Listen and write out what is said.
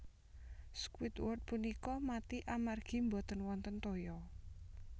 Squidward punika mati amargi boten wonten toya